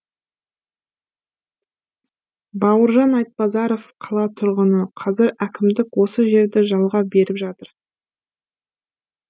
бауыржан айтбазаров қала тұрғыны қазір әкімдік осы жерді жалға беріп жатыр